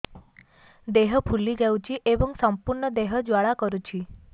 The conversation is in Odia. ଦେହ ଫୁଲି ଯାଉଛି ଏବଂ ସମ୍ପୂର୍ଣ୍ଣ ଦେହ ଜ୍ୱାଳା କରୁଛି